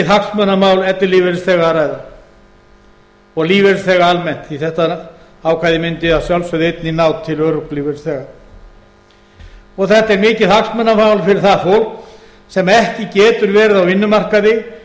hagsmunamál ellilífeyrisþega að ræða og lífeyrisþega almennt því þetta ákvæði mundi að sjálfsögðu einnig ná til örorkulífeyrisþega og þetta er mikið hagsmunamál fyrir það fólk sem ekki getur verið á